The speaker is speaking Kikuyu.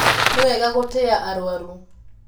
Nĩwega gũtĩa arwaru.